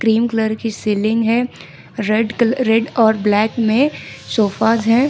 Cream colour की ceiling है red कल रेड और ब्लैक में सोफास है।